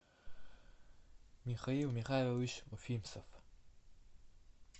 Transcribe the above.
михаил михайлович уфимцев